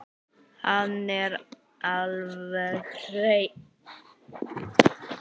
Hann er alveg hreinn.